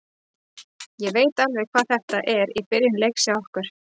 Ég veit alveg hvað þetta var í byrjun leiks hjá okkur.